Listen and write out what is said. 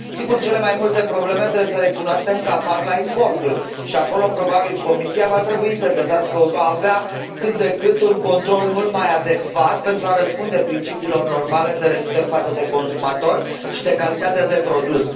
Sigur, cele mai multe probleme trebuie să recunoaștem că apar la importuri și acolo, probabil, Comisia va trebui să găsească o soluție pentru a avea cât de cât un control mult mai adecvat pentru a răspunde principiilor normale de respect față de consumatori și de calitatea de produs.